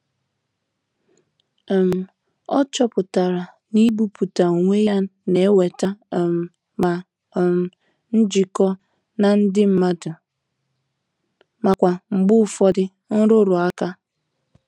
um O chọpụtara na ibuputa onwe ya na-eweta um ma um njikọ na ndị mmadụ ma kwa mgbe ụfọdụ nrụrụ ụka.